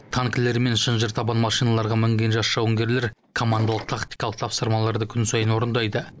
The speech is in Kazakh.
танкілер мен шынжыртабан машиналарға мінген жас жауынгерлер командалық тактикалық тапсырмаларды күн сайын орындайды